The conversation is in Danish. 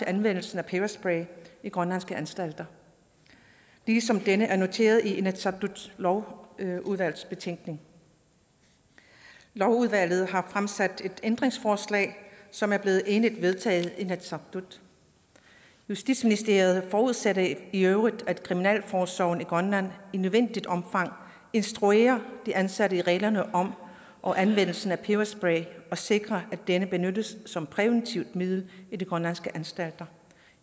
anvendelsen af peberspray i grønlandske anstalter ligesom denne skepsis er noteret i inatsisartuts lovudvalgsbetænkning lovudvalget har fremsat et ændringsforslag som er blevet enigt vedtaget i inatsisartut justitsministeriet forudsætter i i øvrigt at kriminalforsorgen i grønland i nødvendigt omfang instruerer de ansatte i reglerne om og anvendelsen af peberspray og sikrer at denne benyttes som præventivt middel i de grønlandske anstalter